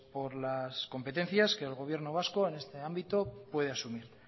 por las competencias que el gobierno vasco en este ámbito puede asumir